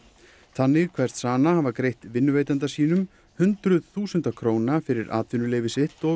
þannig kveðst Sana hafa greitt vinnuveitanda sínum hundruð þúsunda króna fyrir atvinnuleyfi sitt og